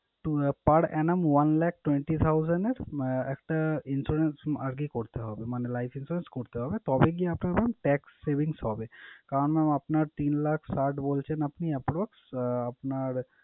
আহ per annum one lakh twenty thousand এর ah একটা insurance আগে করতে হবে। মানে life insurance করতে হবে তবেই গিয়ে আপনার mam tax savings হবে। কারন mam আপনার তিন লাখ ষাট বলছেন আপনি আপনার আহ আপনার,